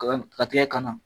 Ka tigɛ kana.